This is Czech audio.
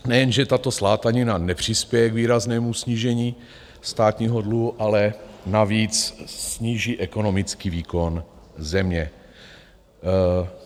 Nejenže tato slátanina nepřispěje k výraznému snížení státního dluhu, ale navíc sníží ekonomický výkon země.